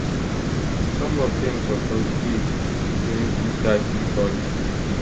some of dem suppose dey dotwenty30 40